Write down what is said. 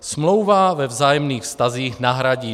Smlouva ve vzájemných vztazích nahradí